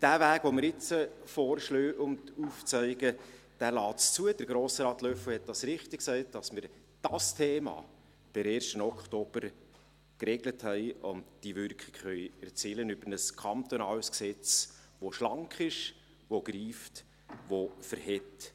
Der Weg, den wir jetzt vorschlagen und aufzeigen, lässt zu – Grossrat Löffel hat es richtig gesagt –, dass wir dieses Thema per 1. Oktober geregelt haben und die Wirkung erzielen können über ein kantonales Gesetz, das schlank ist, greift und standhält.